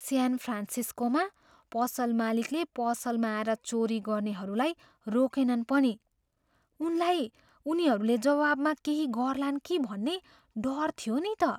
स्यान फ्रान्सिस्कोमा पसल मालिकले पसलमा आएर चोरी गर्नेहरूलाई रोकेनन् पनि। उनलाई उनीहरूले जवाबमा केही गर्लान् कि भन्ने डर थियो नि त।